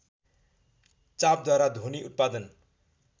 चापद्वारा ध्वनि उत्पादन